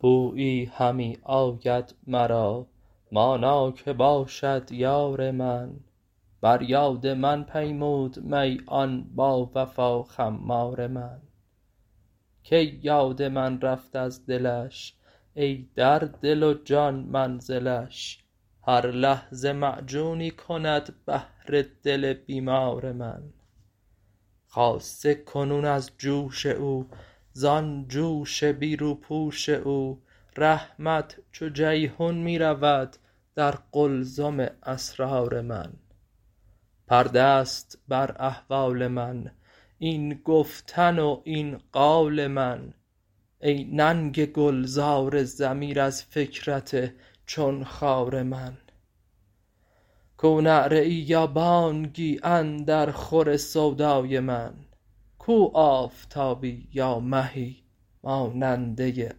بویی همی آید مرا مانا که باشد یار من بر یاد من پیمود می آن باوفا خمار من کی یاد من رفت از دلش ای در دل و جان منزلش هر لحظه معجونی کند بهر دل بیمار من خاصه کنون از جوش او زان جوش بی روپوش او رحمت چو جیحون می رود در قلزم اسرار من پرده ست بر احوال من این گفتن و این قال من ای ننگ گلزار ضمیر از فکرت چون خار من کو نعره ای یا بانگی اندر خور سودای من کو آفتابی یا مهی ماننده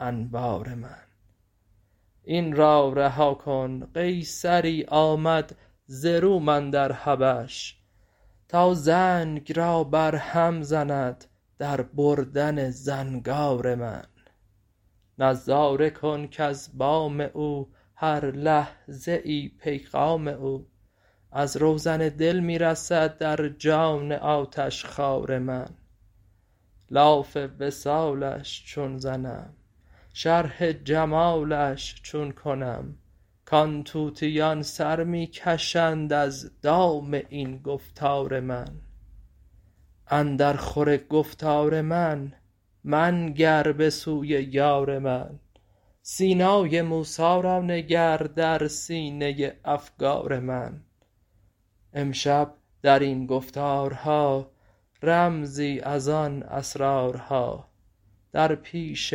انوار من این را رها کن قیصری آمد ز روم اندر حبش تا زنگ را برهم زند در بردن زنگار من نظاره کن کز بام او هر لحظه ای پیغام او از روزن دل می رسد در جان آتشخوار من لاف وصالش چون زنم شرح جمالش چون کنم کان طوطیان سر می کشند از دام این گفتار من اندرخور گفتار من منگر به سوی یار من سینای موسی را نگر در سینه افگار من امشب در این گفتارها رمزی از آن اسرارها در پیش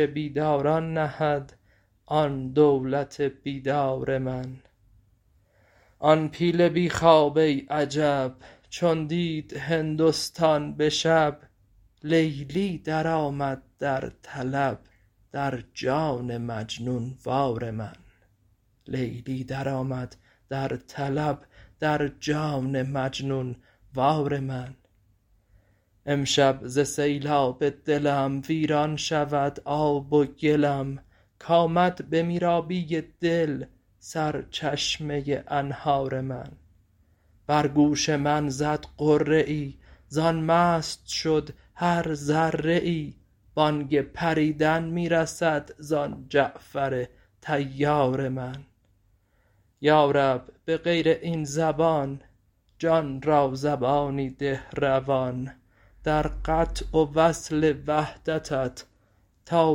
بیداران نهد آن دولت بیدار من آن پیل بی خواب ای عجب چون دید هندستان به شب لیلی درآمد در طلب در جان مجنون وار من امشب ز سیلاب دلم ویران شود آب و گلم کآمد به میرابی دل سرچشمه انهار من بر گوش من زد غره ای زان مست شد هر ذره ای بانگ پریدن می رسد زان جعفر طیار من یا رب به غیر این زبان جان را زبانی ده روان در قطع و وصل وحدتت تا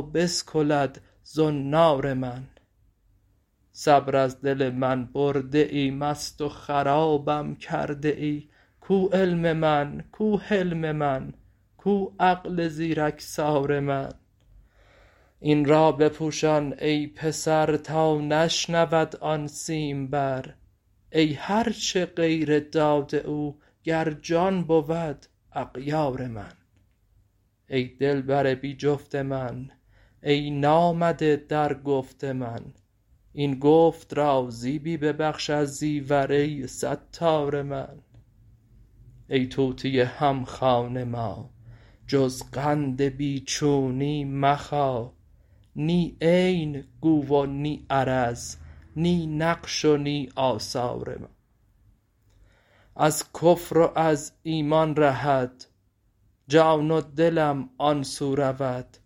بسکلد زنار من صبر از دل من برده ای مست و خرابم کرده ای کو علم من کو حلم من کو عقل زیرکسار من این را بپوشان ای پسر تا نشنود آن سیمبر ای هر چه غیر داد او گر جان بود اغیار من ای دلبر بی جفت من ای نامده در گفت من این گفت را زیبی ببخش از زیور ای ستار من ای طوطی هم خوان ما جز قند بی چونی مخا نی عین گو و نی عرض نی نقش و نی آثار من از کفر و از ایمان رهد جان و دلم آن سو رود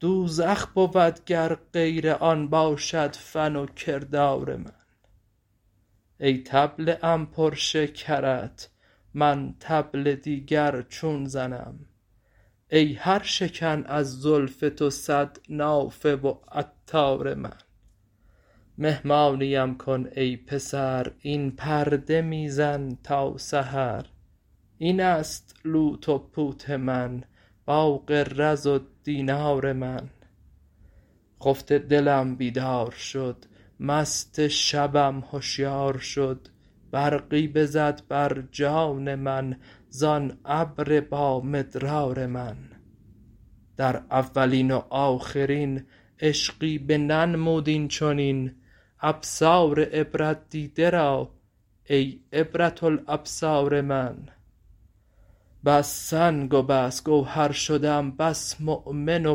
دوزخ بود گر غیر آن باشد فن و کردار من ای طبله ام پر شکرت من طبل دیگر چون زنم ای هر شکن از زلف تو صد نافه و عطار من مهمانیم کن ای پسر این پرده می زن تا سحر این است لوت و پوت من باغ و رز و دینار من خفته دلم بیدار شد مست شبم هشیار شد برقی بزد بر جان من زان ابر با مدرار من در اولین و آخرین عشقی بننمود این چنین ابصار عبرت دیده را ای عبرة الابصار من بس سنگ و بس گوهر شدم بس مؤمن و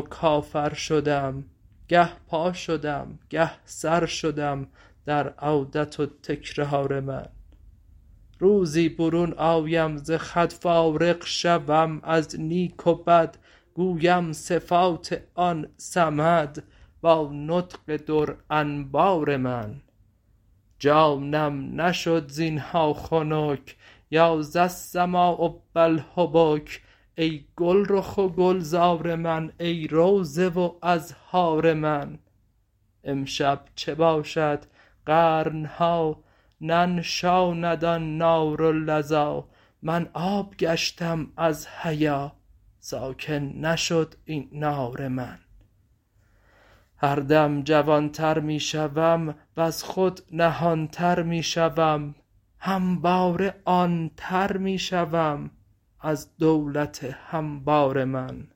کافر شدم گه پا شدم گه سر شدم در عودت و تکرار من روزی برون آیم ز خود فارغ شوم از نیک و بد گویم صفات آن صمد با نطق در انبار من جانم نشد زین ها خنک یا ذاالسماء و الحبک ای گلرخ و گلزار من ای روضه و ازهار من امشب چه باشد قرن ها ننشاند آن نار و لظی من آب گشتم از حیا ساکن نشد این نار من هر دم جوان تر می شوم وز خود نهان تر می شوم همواره آن تر می شوم از دولت هموار من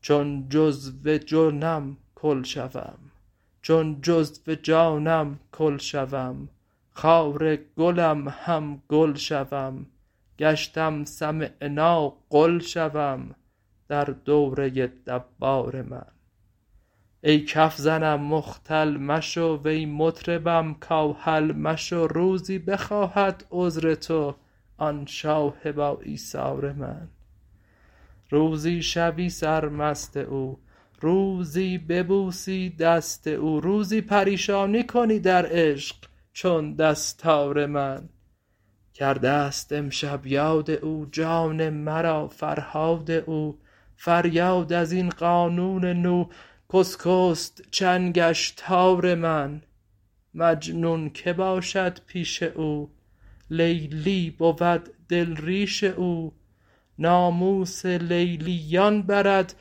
چون جزو جانم کل شوم خار گلم هم گل شوم گشتم سمعنا قل شوم در دوره دوار من ای کف زنم مختل مشو وی مطربم کاهل مشو روزی بخواهد عذر تو آن شاه باایثار من روزی شوی سرمست او روزی ببوسی دست او روزی پریشانی کنی در عشق چون دستار من کرده ست امشب یاد او جان مرا فرهاد او فریاد از این قانون نو کاشکست چنگش تار من مجنون که باشد پیش او لیلی بود دل ریش او ناموس لیلییان برد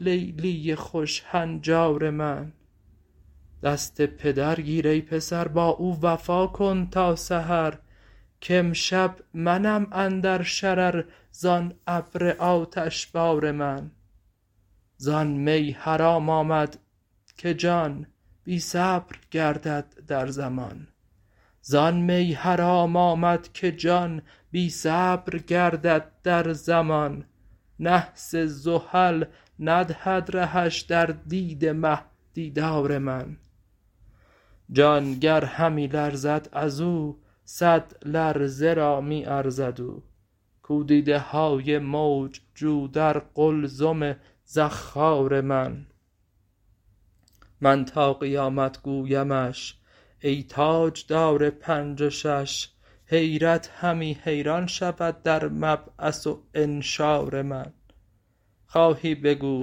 لیلی خوش هنجار من دست پدر گیر ای پسر با او وفا کن تا سحر کامشب منم اندر شرر زان ابر آتشبار من زان می حرام آمد که جان بی صبر گردد در زمان نحس زحل ندهد رهش در دید مه دیدار من جان گر همی لرزد از او صد لرزه را می ارزد او کو دیده های موج جو در قلزم زخار من من تا قیامت گویمش ای تاجدار پنج و شـش حیرت همی حیران شود در مبعث و انشار من خواهی بگو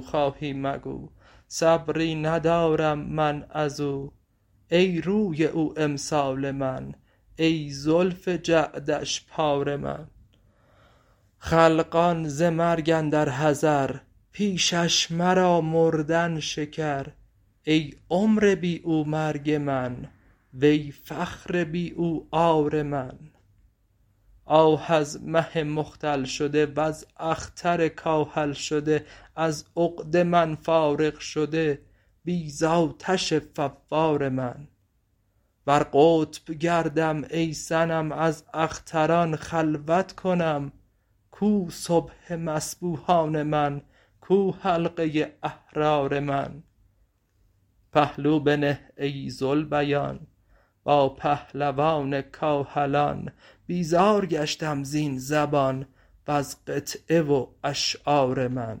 خواهی مگو صبری ندارم من از او ای روی او امسال من ای زلف جعدش پار من خلقان ز مرگ اندر حذر پیشش مرا مردن شکر ای عمر بی او مرگ من وی فخر بی او عار من آه از مه مختل شده وز اختر کاهل شده از عقده من فارغ شده بی دانش فوار من بر قطب گردم ای صنم از اختران خلوت کنم کو صبح مصبوحان من کو حلقه احرار من پهلو بنه ای ذوالبیان با پهلوان کاهلان بیزار گشتم زین زبان وز قطعه و اشعار من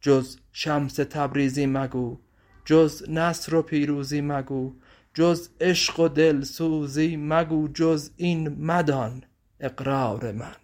جز شمس تبریزی مگو جز نصر و پیروزی مگو جز عشق و دلسوزی مگو جز این مدان اقرار من